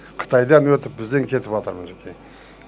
қытайдан өтіп бізден кетіватыр мінекей